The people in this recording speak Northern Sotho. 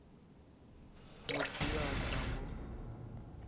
motho yo a ka mo